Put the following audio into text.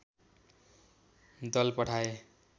दल पठाए